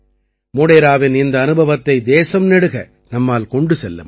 மோடேராவின் இந்த அனுபவத்தை தேசம் நெடுக நம்மால் கொண்டு செல்ல முடியும்